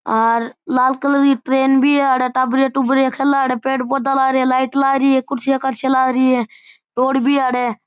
और लाल कलर की ट्रैन भी है अठे टाबरिया टूबरिया खेले अठे पेड़ पौधा लाग रिया लाइट लागरी है कुर्सियां करस्या लागरी है रोड भी है अठे।